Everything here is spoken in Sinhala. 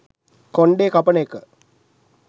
කොන්ඩේ කපන එක